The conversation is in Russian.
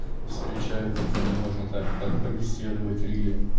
встречаются с кем можно так побеседовать в риле